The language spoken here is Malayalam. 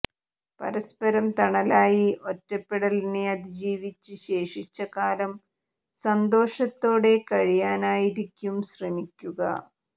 പരസ്പരം തണലായി ഒറ്റപ്പെടലിനെ അതിജീവിച്ച് ശേഷിച്ച കാലം സന്തോഷത്തോടെ കഴിയാനായിരിക്കും ശ്രമിക്കുക